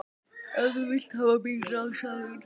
Ef þú vilt hafa mín ráð, sagði hún.